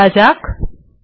back করা যাক